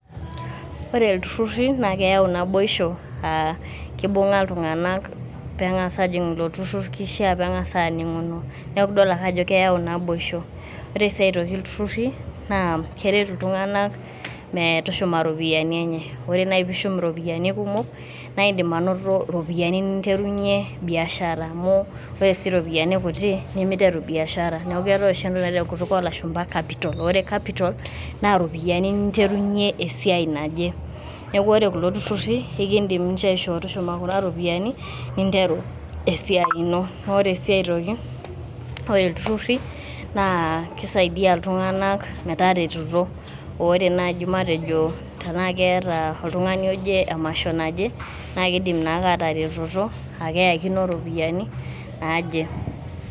Ore iltururri naa keyau naboisho aa kibunga iltunganak pengas ajing ilo tururr ,kishiaa pemangas aninguno . niaku idol ake ajo keyau naboisho .ore sii aitoki ilturrurri naa keret iltunganak mee tushuma iropiyiani enye. ore nai pishum iropiyiani kumok ,naa indim anoto iropiyiani ninterunyie biashara amu ore sii iropiyiani kutik nemiteru biashara .neaku keetae oshi etoki naji tenkutuk oo lashuma capital ore capital naa iropiyiani ninterunyie esiai naje. niaku ore kulo tururri ekidim ninche aishoo tushuma kuna ropiyiani ninteru esiai ino. naa ore sii aitoki ore iltururri naa kisaidia iltunganak metaretoto ,ore naji matejo tena keeta oltungani oje emasho naje naa kidim naake ataretoto aakeyakino iropiyiani naje.